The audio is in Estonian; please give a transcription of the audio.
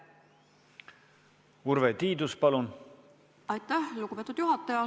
Aitäh, lugupeetud juhataja!